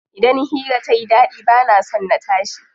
Idan hira tayi ɗaɗi bana son na tashi.